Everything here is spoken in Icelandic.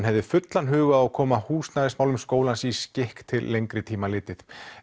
hafa fullan hug á að koma húsnæðismálum skólans í skikk til lengri tíma litið